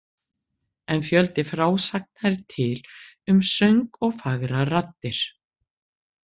En fjöldi frásagna er til um söng og fagrar raddir.